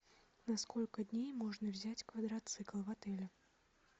на сколько дней можно взять квадроцикл в отеле